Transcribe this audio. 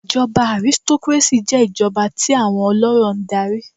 Ìjọba aristocracy jé ìjọba íi àwọn olórò n darí